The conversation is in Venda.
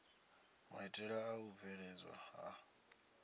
maitele a u bveledzwa ha